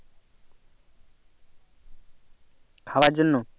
খাবার জন্য